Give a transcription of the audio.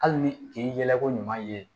Hali ni k'i yɛlɛko ɲuman ye